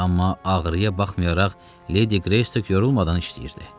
Amma ağrıya baxmayaraq Ledi Qreystok yorulmadan işləyirdi.